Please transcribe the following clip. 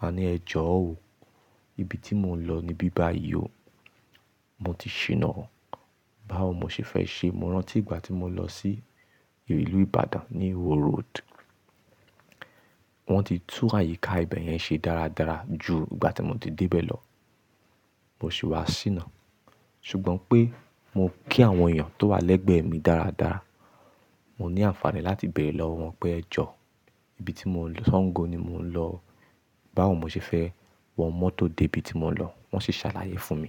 Màá ní ẹ jọ̀ọ́ òó, ibi tí mò ń lọ ni bíbá yìí o. Mo ti ṣìnà. Báwo mo ṣe fẹ́ ṣe? Mo rántí ìgbà tí mo lọ sí ìlú Ìbàdàn ní iwo road. Wọ́n ti tú àyíká ibẹ̀ yẹn ṣe dáradára ju ìgbà tí mo ti dé ibẹ̀ lọ. Mo sì wá ṣìnà. Ṣùgbọ́n pé mo kí àwọn èèyàn tó wà lẹ́gbẹ̀ẹ́ mi dáradára. Mo ní àǹfààní láti bẹ̀rẹ̀ lọ́ wọ́n pé ẹ jọ̀ọ́, ibi tí mò ń lọ Sango ni mò ń lọ. Báwo mo ṣe fẹ́ wọ mọ́tò dé ibi tí mò ń lọ, wọ́n sì ṣàlàyé fún mi.